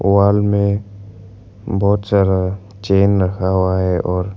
wall में बहोत सारा चैन रखा हुआ है और--